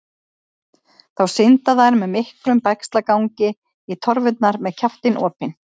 Þá synda þeir með miklum bægslagangi í torfurnar með kjaftinn opinn.